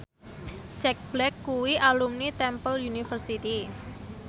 Jack Black kuwi alumni Temple University